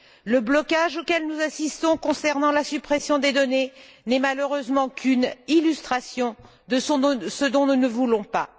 Le blocage auquel nous assistons concernant la suppression des données n'est malheureusement qu'une illustration de ce dont nous ne voulons pas.